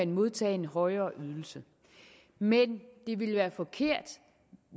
modtage en højere ydelse men det vil være forkert